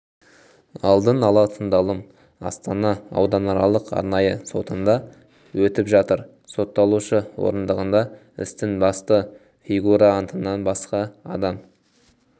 алдын ала тыңдалым астана ауданаралық арнайы сотында өтіп жатыр сотталушы орындығында істің басты фигурантынан басқа адам